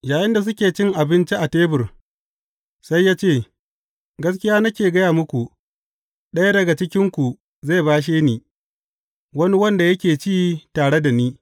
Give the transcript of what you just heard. Yayinda suke cin abinci a tebur, sai ya ce, Gaskiya nake gaya muku, ɗaya daga cikinku zai bashe ni, wani wanda yake ci tare da ni.